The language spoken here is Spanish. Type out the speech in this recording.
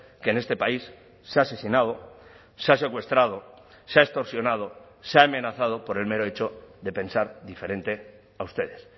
que en este país se ha asesinado se ha secuestrado se ha extorsionado se ha amenazado por el mero hecho de pensar diferente a ustedes